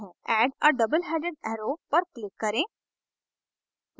add a double headed arrow पर click करें